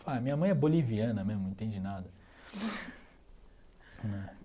Falou ah, minha mãe é boliviana mesmo, não entende nada né.